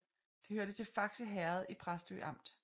Det hørte til Fakse Herred i Præstø Amt